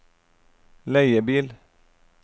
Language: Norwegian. leiebil